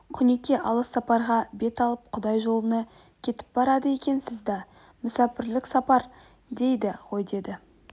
құнеке алыс сапарға бет алып құдай жолына кетіп барады екесіз да мүсәпрлік сапар дейді ғой деді